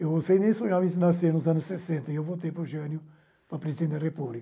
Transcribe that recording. Eu não sei nem sonhava em nascer nos anos sessenta, e eu votei para o Jânio para presidente da República.